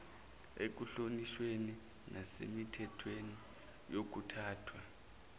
ekuhlonishweni nasemithethweni yokuphathwa